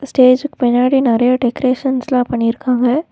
ஸ்டேஜுக்கு பின்னாடி நறையா டெக்கரேஷன்ஸ்லா பண்ணிருக்காங்க.